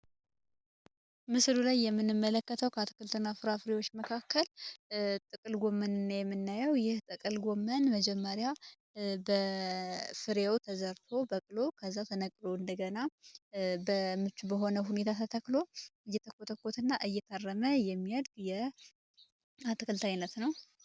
የምንመለከተው ከአትክልትና ፍራፍሬዎች መካከል ጥቅል ጎመን የምናየው የጠቀል ጎመን መጀመሪያ በፍሬው ተዘርፈው ከዛ ተነግሮ እንደገና በሆነ ሁኔታ ተክሎ እየተኮስና እየተመረጠ የሚያድያት አይነት ነው።